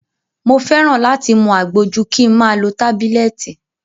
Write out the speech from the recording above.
Mo fẹ́ràn láti mu àgbo ju kin ma lo tábílẹ̀tì.